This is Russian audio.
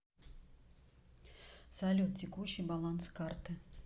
салют текущий баланс карты